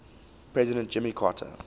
president jimmy carter